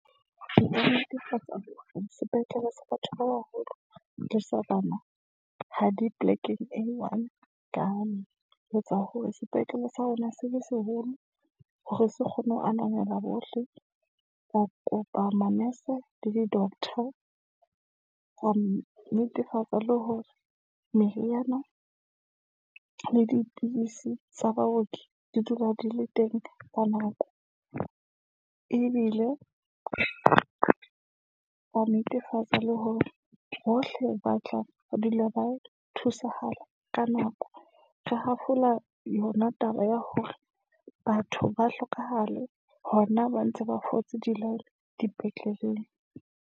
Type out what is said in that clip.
Sepetlele sa batho ba baholo le sa bana, ha di polekeng e one, ka etsa hore sepetlele sa rona se seholo, hore se kgone ho ananela bohle. Re kopa manese le di-doctor, ho netefatsa le hore meriana le dipidisi tsa baoki di dula di le teng ka nako. Ebile re netefatsa le hore bohle ba tla dula ba thusahala ka nako. Re hafola yona taba ya hore batho ba hlokahale, hona ba ntse ba fotse di-line dipetleleng.